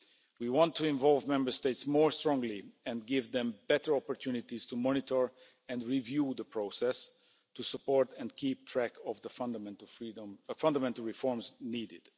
We want to involve Member States more strongly and give them better opportunities to monitor and review the process, to support and keep track of the fundamental reforms needed.